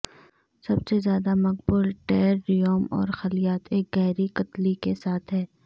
سب سے زیادہ مقبول ٹیرریوم اور خلیات ایک گہری قطلی کے ساتھ ہیں